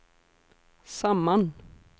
samman